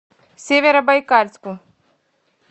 северобайкальску